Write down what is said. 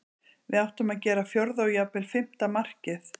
Við áttum að gera fjórða og jafnvel fimmta markið.